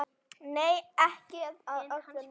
Nei, ekki að öllu leyti.